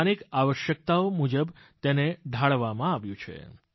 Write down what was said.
સ્થાનિક આવશ્યકતાઓ મુજબ તેને ઢાળવામાં આવ્યું છે